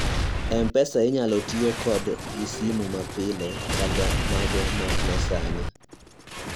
mpesa inyalo tiyo kodo gi sim ma pile kata mago ma nyasani